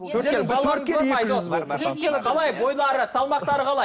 қалай бойлары салмақтары қалай